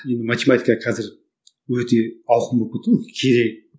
енді математика қазір өте ауқымды болып кетті ғой